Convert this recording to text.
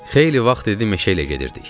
Xeyli vaxt idi meşə ilə gedirdik.